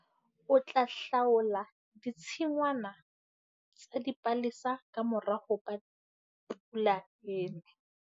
O tla hlaola ditshingwana tsa dipalesa ka mora hoba pula e ne.